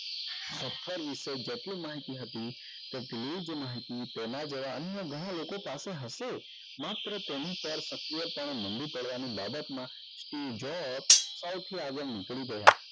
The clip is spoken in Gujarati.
પત્થર વિશે જેટલી માહિતી હતી એટલી જ માહિતી તેના દ્વારા અન્ય ગણા લોકો પાસે હશે માત્ર તેની પર સક્રિયતા પડવા ની બાબત માં stay jobs સૌથી આગળ નીકળી ગયા